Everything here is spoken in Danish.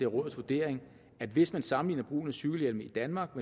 rådets vurdering at hvis man sammenligner brugen af cykelhjelm i danmark